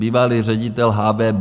Bývalý ředitel HVB.